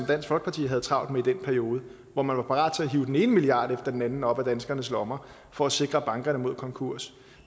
dansk folkeparti havde travlt med i den periode hvor man var parat til at hive den ene milliard kroner efter den anden op af danskernes lommer for at sikre bankerne mod konkurs